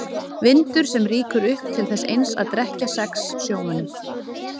Vindur sem rýkur upp til þess eins að drekkja sex sjómönnum.